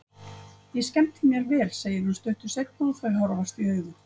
Ég skemmti mér vel, segir hún stuttu seinna og þau horfast í augu.